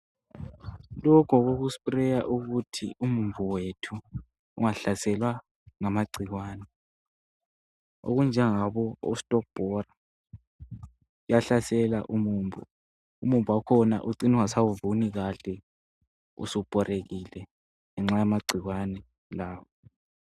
Lokhu ngokoku sprayer ukuthi umumbu wethu ungahlaselwa ngama gcikwane, okunjengabo ostobhora kuyahlasela umumbu. Umumbu wakhona ucine ungasawuvuni kahle usubhorekile ngenxa yama gcikwane lawa.